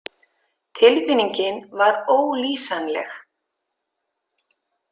Tilfinningin var ólýsanleg.